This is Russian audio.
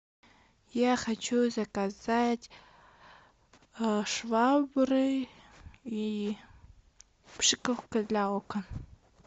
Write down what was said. я хочу заказать швабры и пшикалка для окон